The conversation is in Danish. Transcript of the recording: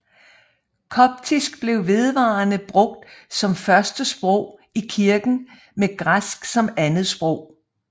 Koptisk blev vedvarende brugt som førstesprog i kirken med græsk som andetsprog